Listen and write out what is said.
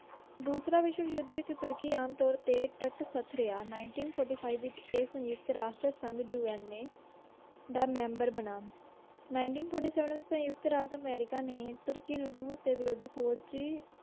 ਦੂਸਰਾ ਵਿਸ਼ਵ ਯੁੱਧ ਵਿੱਚ ਤੁਰਕੀ ਆਮ ਤੌਰ 'ਤੇ ਤਟਸਥ ਰਿਹਾ। ninteen forty five ਵਿੱਚ ਇਹ ਸੰਯੁਕਤ ਰਾਸ਼ਟਰ ਸੰਘ UNA ਦਾ ਮੈਂਬਰ ਬਣਾ। ninteen forty seven ਵਿੱਚ ਸੰਯੁਕਤ ਰਾਜ ਅਮਰੀਕਾ ਨੇ ਤੁਰਕੀ ਨੂੰ ਰੂਸ ਦੇ ਵਿਰੁੱਧ ਫੌਜੀ